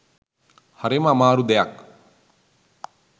හරිම අමාරු දෙයක්